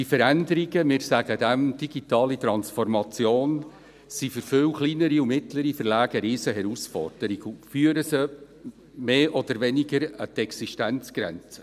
Diese Veränderungen – wir nennen diese «digitale Transformation» – sind für viele kleinere und mittlere Verlage eine Riesenherausforderung und führen diese mehr oder weniger an ihre Existenzgrenzen.